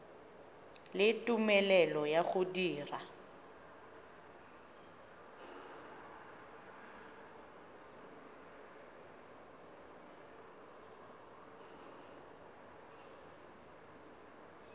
le tumelelo ya go dira